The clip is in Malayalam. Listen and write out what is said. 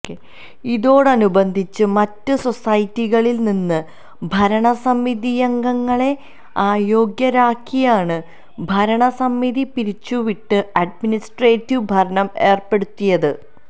ഇതോടനുബന്ധിച്ച് മറ്റ് സൊസൈറ്റികളില് നിന്ന് ഭരണസമിതിയംഗങ്ങളെ അയോഗ്യരാക്കിയാണ് ഭരണസമിതി പിരിച്ചുവിട്ട് അഡ്മിനിസ്ട്രേറ്റീവ് ഭരണം ഏര്പ്പെടുത്തിയത്